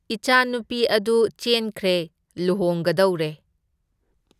ꯏꯆꯥꯅꯨꯄꯤ ꯑꯗꯨ ꯆꯦꯟꯈ꯭ꯔꯦ, ꯂꯨꯍꯣꯡꯒꯗꯧꯔꯦ꯫